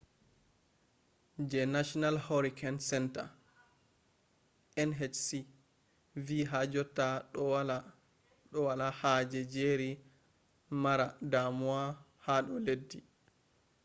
je national hurricane centre nhc vi ha jotta do wala haje jerry mara damuwa hado leddi